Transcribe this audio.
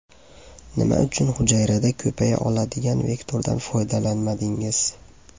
Nima uchun hujayrada ko‘paya oladigan vektordan foydalanmadingiz?